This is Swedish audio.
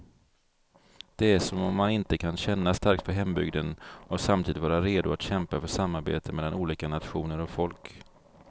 Det är som om man inte kan känna starkt för hembygden och samtidigt vara redo att kämpa för samarbete mellan olika nationer och folk.